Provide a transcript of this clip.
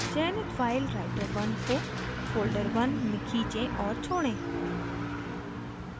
चयनित file writer1 को folderone में खींचे और छोड़ें